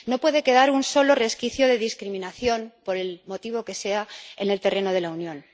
No puede quedar un solo resquicio de discriminación, por el motivo que sea, en el terreno de la Unión.